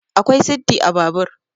akwai siddi a Babur